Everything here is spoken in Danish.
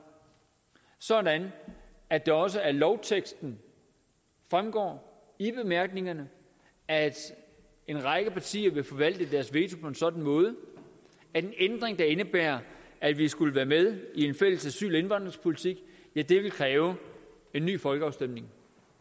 sådan at det også af lovteksten fremgår i bemærkningerne at en række partier vil forvalte deres veto på en sådan måde at en ændring der indebærer at vi skulle være med i en fælles asyl og indvandringspolitik ville kræve en ny folkeafstemning